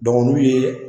n'u ye